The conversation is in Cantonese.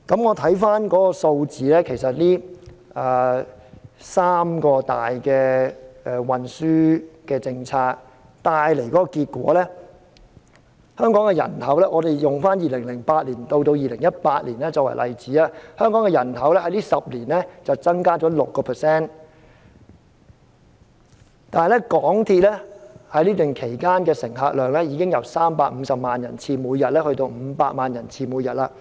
回看數字，這三大公共運輸政策帶來的結果是，使用2008年至2018年的數據作為例子，香港的人口在這10年間增加了 6%， 但港鐵的乘客量已經由每天350萬人次增加至500萬人次。